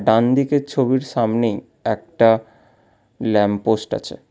ডানদিকের ছবির সামনেই একটা ল্যাম্পপোস্ট আছে।